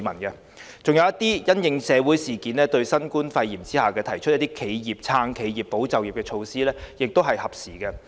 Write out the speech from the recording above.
此外，一些因應社會事件和新冠肺炎提出的"撐企業、保就業"措施亦是合時的。